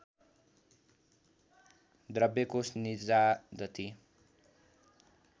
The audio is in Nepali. द्रव्य कोष निजादती